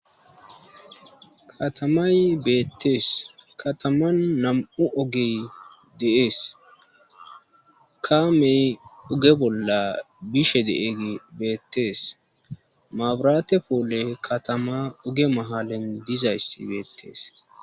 katamay beettees kataman nam7u ogey deees kaamey oge bolla bishe deeg beettees maaburate poole katama oge mahalan dizayssi beettees